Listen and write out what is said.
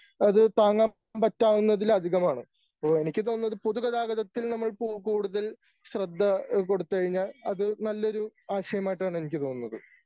അത് താങ്ങാൻ പറ്റാവുന്നതിലധികമാണ്. അപ്പോ എനിക്ക് തോന്നുന്നത് പൊതു ഗതാഗതത്തിൽ നമ്മൾ പോ കൂടുതൽ ശ്രദ്ധ ഏഹ് കൊടുത്തു കഴിഞ്ഞാൽ അത് നല്ലൊരു ആശയമായിട്ടാണ് എനിക്ക് തോന്നുന്നത്.